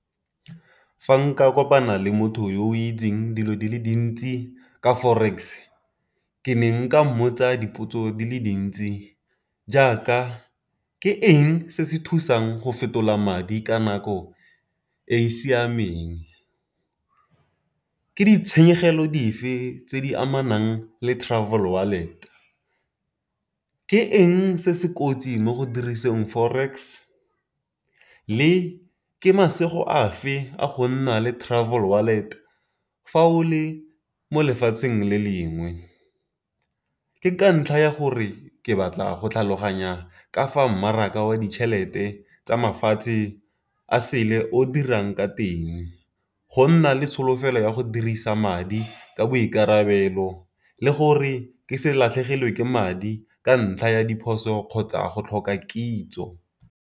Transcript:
Fa nka kopana le motho yo o itseng dilo di le dintsi ka forex ke ne nka mmotsa dipotso di le dintsi jaaka, ke eng se se thusang go fetola madi ka nako e e siameng? Ke ditshenyegelo dife tse di amanang le travel wallet? Ke eng se se kotsi mo go diriseng forex? Le ke masego a fe a go nna le travel wallet, fa o le mo lefatsheng le lengwe? Ke ka ntlha ya gore ke batla go tlhaloganya ka fa mmaraka wa ditšhelete tsa mafatshe a sele o dirang ka teng. Go nna le tsholofelo ya go dirisa madi ka boikarabelo le gore ke se latlhegelwe ke madi ka ntlha ya diphoso kgotsa go tlhoka kitso.